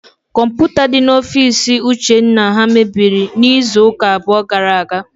Kọmputa dị n'ofiisi ụchenna ha mebiri n'izuụka abụọ gara aga.